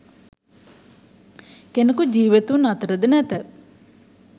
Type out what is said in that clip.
කෙනෙකු ජීවතුන් අතර ද නැත.